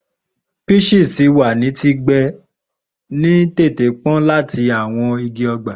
Peaches ti wa ni ti gbe ni tente pọn lati awọn igi ọgba.